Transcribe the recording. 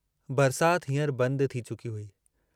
बरसात हींअर बंद थी चुकी हुई।